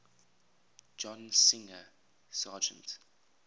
john singer sargent